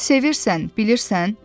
Sevirsən, bilirsən?